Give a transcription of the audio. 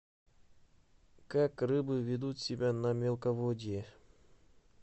как рыбы ведут себя на мелководье